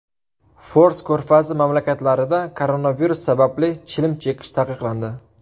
Fors ko‘rfazi mamlakatlarida koronavirus sababli chilim chekish taqiqlandi.